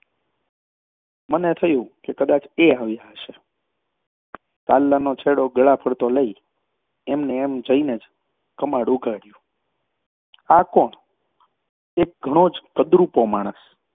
મને થયું કે કદાચ એ આવ્યા હશે. સાલ્લાનો છેડો ગળા ફરતો લઈ એમ ને એમ જઈ ઉઘાડયું. આ કોણ? એક ઘણો જ કદરૃપો માણસ,